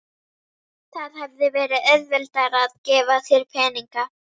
Það hefði verið auðveldara að gefa þér peninga.